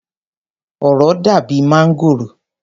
Òro dàbi máǹgòrò.